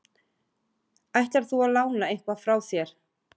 Ætlar þú að lána eitthvað frá þér?